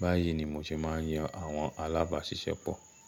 Báyìí ni mo ṣe máa ń yan àwọn alábàáṣiṣẹ́pọ̀.